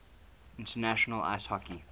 international ice hockey